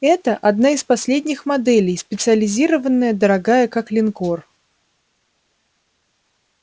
это одна из последних моделей специализированная дорогая как линкор